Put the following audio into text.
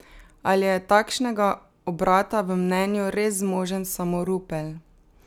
Ali je takšnega obrata v mnenju res zmožen samo Rupel?